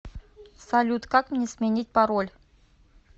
салют как мне сменить пароль